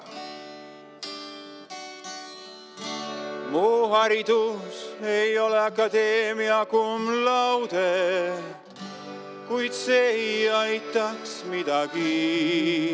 Mu haridus ei ole akadeemia cum laude, kuid see ei aitaks midagi.